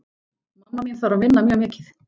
Mamma mín þarf að vinna mjög mikið.